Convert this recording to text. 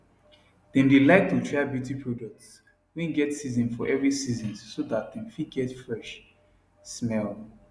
them dae like to try beauty products wae get season for every season so that dem fit get fresh smell